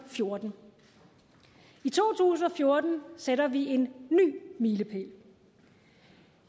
fjorten i to tusind og fjorten sætter vi en ny milepæl